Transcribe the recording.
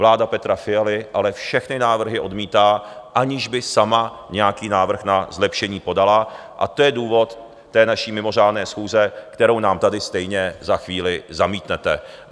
Vláda Petra Fialy ale všechny návrhy odmítá, aniž by sama nějaký návrh na zlepšení podala, a to je důvod té naší mimořádné schůze, kterou nám tady stejně za chvíli zamítnete.